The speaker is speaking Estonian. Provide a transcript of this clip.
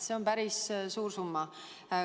See on päris suur summa.